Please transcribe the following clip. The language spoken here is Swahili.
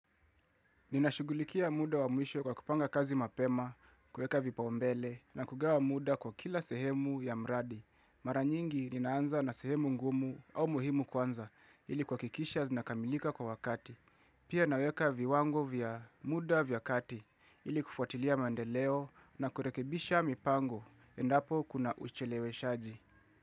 Ninashugulikia muda wa mwisho kwa kupanga kazi mapema, kueka vipau mbele na kugawa wa muda kwa kila sehemu ya mradi. Mara nyingi ninaanza na sehemu ngumu au muhimu kwanza ili kwa kuhakikisha zinakamilika kwa wakati. Pia naweka viwango vya muda vya kati ili kufuatilia mandeleo na kurekebisha mipango endapo kuna ucheleweshaji.